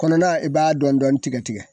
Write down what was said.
Kɔnɔna i b'a dɔɔnin dɔɔnin tigɛ tigɛ